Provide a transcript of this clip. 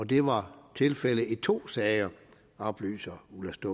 det var tilfældet i to sager oplyser ulla